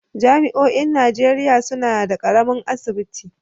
Jami'oin Najeriya suna da ƙaramin asibiti.